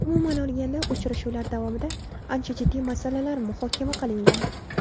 Umuman olganda, uchrashuvlar davomida ancha jiddiy masalalar muhokama qilingan.